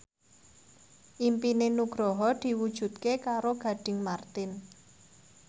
impine Nugroho diwujudke karo Gading Marten